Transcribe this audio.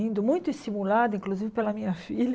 Indo muito estimulada, inclusive pela minha filha.